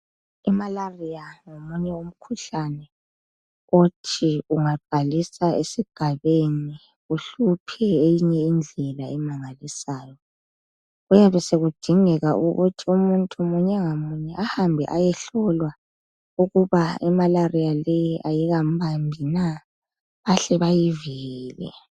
imalaria ngomunye umkhuhlane othi engaqalisa esigabeni uhluphe ngeyinye indela emangalisayo kuyabe sokudingeka ukuthi umunye munye ngamunye ahambe ayehlolwa ukuthi imalaria leyi ayikambambi na bahle bamvikele